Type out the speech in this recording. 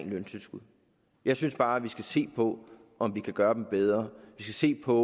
løntilskud jeg synes bare at vi skal se på om vi kan gøre dem bedre vi skal se på